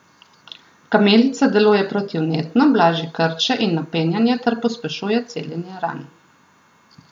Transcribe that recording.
Kamilica deluje protivnetno, blaži krče in napenjanje ter pospešuje celjenje ran.